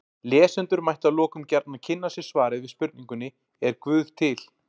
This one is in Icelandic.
Lesendur mættu að lokum gjarnan kynna sér svarið við spurningunni Er guð til?